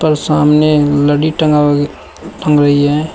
पर सामने लड़ी टंगा टंग रही है।